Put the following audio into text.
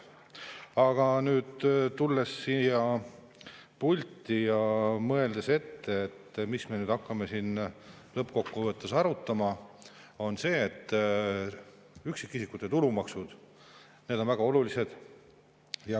Aga nüüd, tulles siia pulti ja mõeldes ette, mida me nüüd hakkame siin lõppkokkuvõttes arutama, ütlen, et üksikisikute tulumaksud, need on väga olulised.